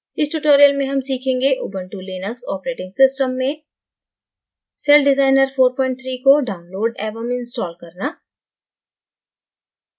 इस tutorial में हम सीखेंगें ubuntu linux operating system में celldesigner 43 को download एवं install करना